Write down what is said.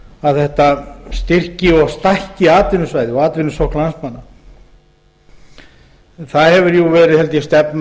að þetta styrki og stækki atvinnusvæðið og atvinnusókn landsmanna það hefur verið